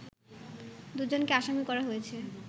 দুজনকে আসামি করা হয়েছে